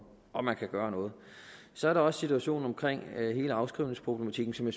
om man kan gøre noget så er der også situationen omkring hele afskrivningsproblematikken som